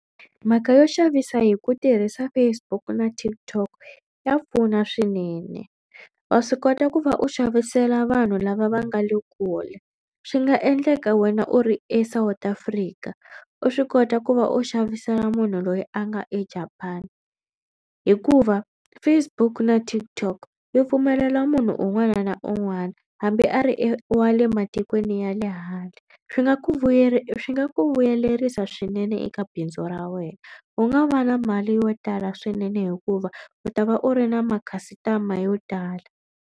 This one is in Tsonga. Mhaka yo xavisa hi ku tirhisa Facebook na TikTok ya pfuna swinene. Wa swi kota ku va u xavisela vanhu lava va nga le kule swi nga endleka wena u ri eSouth Africa u swi kota ku va u xavisela munhu loyi a nga eJapan hikuva Facebook na TikTok yi pfumelela munhu un'wana na un'wana hambi a ri e wa le matikweni ya le handle. Swi nga ku swi nga ku vuyelerisa swinene eka bindzu ra wena u nga va na mali yo tala swinene hikuva u ta va u ri na makhasitama yo tala.